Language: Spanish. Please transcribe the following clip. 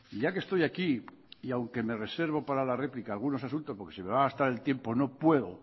ya que estoy aquí y aunque me reservo para la réplica algunos asuntos porque se me va a gastar el tiempo no puedo